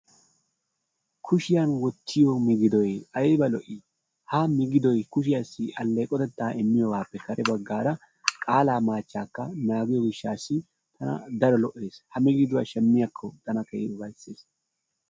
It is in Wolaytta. Kushshiyaan wottiyoo migidoy ayba lo"ii? Ha migidoy kushshiyaasi alleqotettaa immiyoogape kare baggaara qaalaa machchaakka naagiyoo giishasi daro lo"ees. Ha migiduwaa shamiyaakko tan keehi ufayssees.